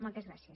moltes gràcies